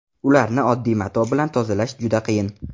Ularni oddiy mato bilan tozalash juda qiyin.